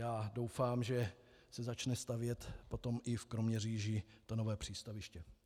Já doufám, že se začne stavět potom i v Kroměříži to nové přístaviště.